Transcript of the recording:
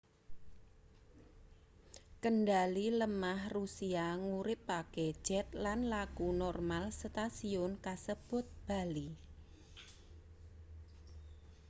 kendhali lemah rusia nguripake jet lan laku normal setasiyun kasebut bali